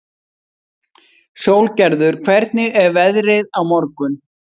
Sólgerður, hvernig er veðrið á morgun?